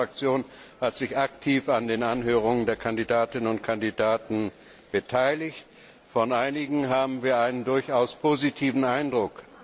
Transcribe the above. Auch meine Fraktion hat sich aktiv an den Anhörungen der Kandidatinnen und Kandidaten beteiligt. Von einigen haben wir einen durchaus positiven Eindruck.